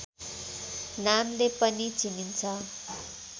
नामले पनि चिनिन्छ